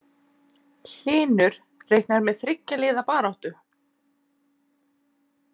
Hlynur reiknar með þriggja liða baráttu